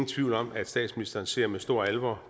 tvivl om at statsministeren ser med stor alvor